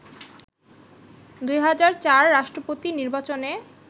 ২০০৪ রাষ্ট্রপতি নির্বাচনে